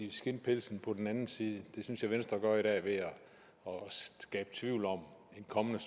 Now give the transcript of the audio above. i skindpelsen hos den anden side det synes jeg venstre gør i dag ved at skabe tvivl om en kommende